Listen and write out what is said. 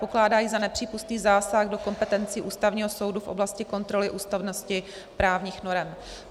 Pokládá ji za nepřípustný zásah do kompetencí Ústavního soudu v oblasti kontroly ústavnosti právních norem.